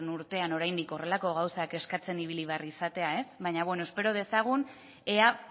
urtean oraindik horrelako gauzak eskatzen ibili behar izatea ez baina bueno espero dezagun ea